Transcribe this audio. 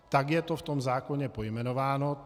Tak je to v tom zákoně pojmenováno.